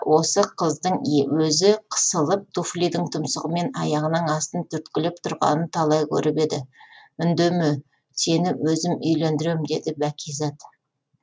осы қыздың өзі қысылып туфлидің тұмсығымен аяғының астын түрткілеп тұрғанын талай көріп еді үндеме сені өзім үйлендірем деді бәкизат